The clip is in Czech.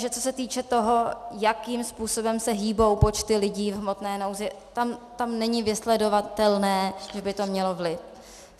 Že co se týče toho, jakým způsobem se hýbou počty lidí v hmotné nouzi - tam není vysledovatelné, že by to mělo vliv.